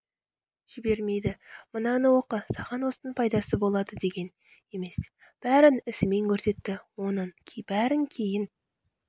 жібермейді мынаны оқы саған осының пайдасы болады деген емес бәрін ісімен көрсетті оның бәрін кейін